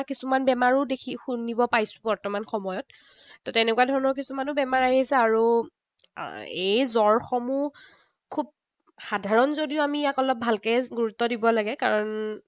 কিছুমান বেমাৰো শুনিব পাইছো বৰ্তমান সময়ত। ত তেনেকুৱা ধৰণৰো কিছুমান বেমাৰ আহিছে। আৰু এই জ্বৰসমূহ খুব সাধাৰণ যদিও আমি ইয়াক অলপ ভালকে গুৰুত্ব দিব লাগে। কাৰণ